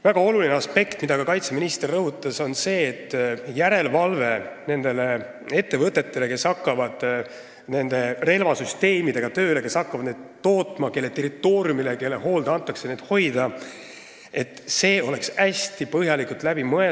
Väga oluline aspekt, mida ka kaitseminister rõhutas, on see, et järelevalve nende ettevõtete üle, kes hakkavad tööle relvasüsteemidega, kes hakkavad neid tootma ja kelle territooriumile, kelle hoole alla need antakse, peab olema hästi põhjalikult läbi mõeldud.